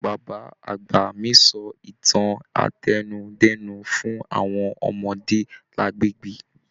Bàbá àgbà mí sọ ìtàn átẹnudẹ́nu fún àwọn ọmọdé lagbegbe.